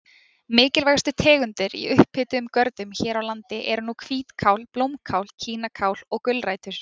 Mikilvægustu tegundir í upphituðum görðum hér á landi eru nú hvítkál, blómkál, kínakál og gulrætur.